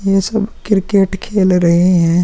ये सब क्रिकेट खेल रहे हैं ।